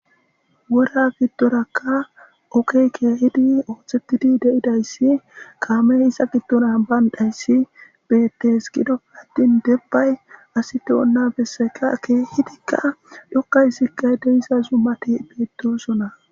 wora giddorakka okey keehidi ooththettidi de7idayssi kaameisa giddonan bayndhayssi beettes gidoppe addin debbay asi do7onna besseka keehidikka dhokkaysikqay deiza zumati beettosona